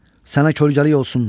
Sənə kölgəlik olsun.